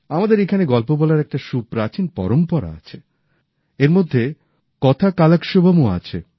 আমাদের এখানে গল্প বলার একটা সুপ্রাচীন পরম্পরা আছে